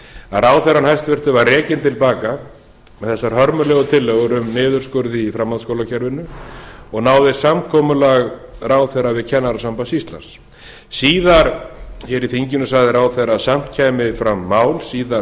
að ráðherra hæstvirtrar var rekinn til baka með þessar hörmulegu tillögur um niðurskurð í framhaldsskólakerfinu og náðist samkomulag ráðherra við kennarasamband íslands síðar hér í þinginu sagði ráðherra að samt kæmi fram mál